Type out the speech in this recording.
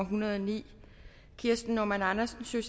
hundrede og ni kirsten normann andersen